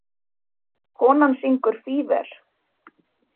Konan syngur Fever.